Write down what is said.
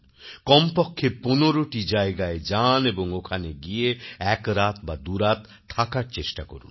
কমপক্ষে ১৫টি জায়গায় যান এবং ওখানে গিয়ে একরাত বাদুরাত থাকার চেষ্টা করুন